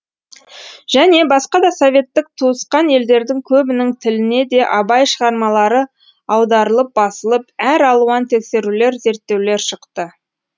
және басқа да советтік туысқан елдердің көбінің тіліне де абай шығармалары аударылып басылып әр алуан тексерулер зерттеулер шықты